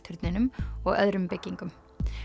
turninum og öðrum byggingum